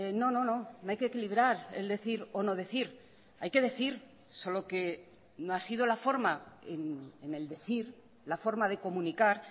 no no no no hay que equilibrar el decir o no decir hay que decir solo que no ha sido la forma en el decir la forma de comunicar